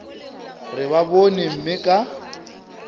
re ba bone mme ka